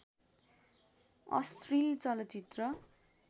अश्लील चलचित्र